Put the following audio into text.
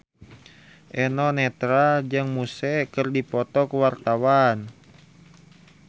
Eno Netral jeung Muse keur dipoto ku wartawan